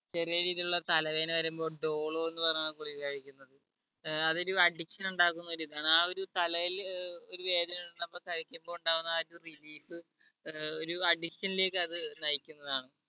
ചെറിയ രീതിയിലുള്ള തലവേദന വരുമ്പോ ഡോളോ എന്ന് പറഞ്ഞ ഗുളിക കഴിക്കുന്നത് ഏർ അത് ഒരു addiction ഉണ്ടാക്കുന്ന ഒരിതാണ് ആ ഒരു തലയിൽ ഒരു വേദന ഉണ്ടാകുമ്പോ കഴിക്കുമ്പോ ഉണ്ടാകുന്ന ആ ഒരു relief ഒര് ഒരു addiction ലേക്ക് അത് നയിക്കുന്നതാണ്‌